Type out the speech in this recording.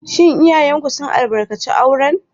Shin iyayenku sun albarkaci auren?